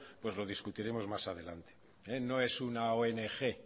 lo discutiremos más adelante no es una ong